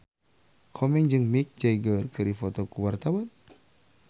Komeng jeung Mick Jagger keur dipoto ku wartawan